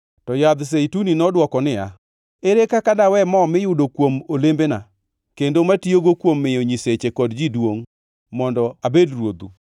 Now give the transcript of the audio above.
“To yadh zeituni nodwoko niya, ‘Ere kaka dawe mo miyudo kuom olembena kendo mitiyogo kuom miyo nyiseche kod ji duongʼ mondo abed ruodhu?’